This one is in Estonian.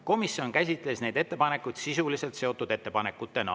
Komisjon käsitles neid ettepanekuid sisuliselt seotud ettepanekutena.